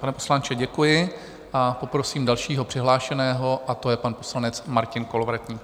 Pane poslanče, děkuji, a poprosím dalšího přihlášeného a to je pan poslanec Martin Kolovratník.